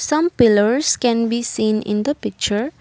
some pillars can be seen in the picture.